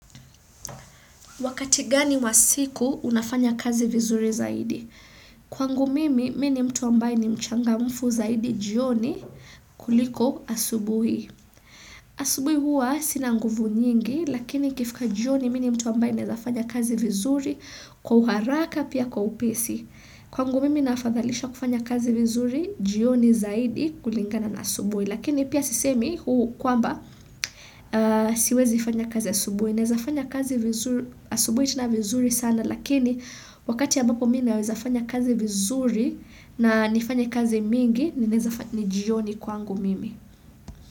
Wakati gani wa siku unafanya kazi vizuri zaidi? Kwa ngu mimi, mene mtu ambaye ni mchanga mfu zaidi jioni kuliko asubui. Asubui huwa sinanguvu nyingi, lakini kifika jioni mene mtu ambaye nezafanya kazi vizuri kwa uharaka pia kwa upesi. Kwa ngu mimi nafadhalisha kufanya kazi vizuri jioni zaidi kulingana na asubui. Lakini pia sisemi kwa mba siwezi nifanya kazi asubwe. Nezafanya kazi asubwe itina vizuri sana lakini wakati ya mbako mina wezafanya kazi vizuri na nifanya kazi mingi nijioni kwangu mimi.